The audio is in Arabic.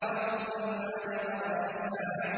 ثُمَّ أَدْبَرَ يَسْعَىٰ